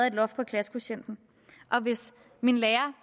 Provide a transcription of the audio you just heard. et loft på klassekvotienten og hvis mine lærere